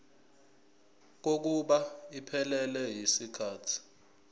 kokuba iphelele yisikhathi